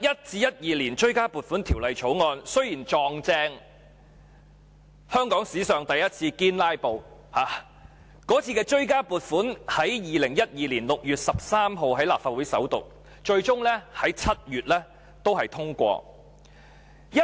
《追加撥款條例草案》雖然剛好遇上香港史上第一次"堅拉布"，該次追加撥款在2012年6月13日在立法會首讀，最終在7月通過。